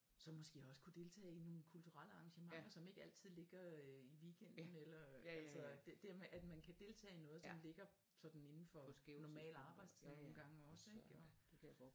Så måske også kunne deltage i nogle kulturelle arrangementer som ikke altid ligger øh i weekenden eller altså det med at man kan deltage i noget som ligger sådan inden for normale arbejdstider nogle gange også ik og